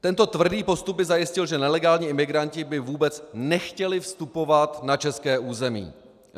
Tento tvrdý postup by zajistil, že nelegální imigranti by vůbec nechtěli vstupovat na české území.